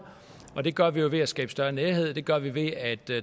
og det gør vi jo ved at skabe større nærhed det gør vi ved at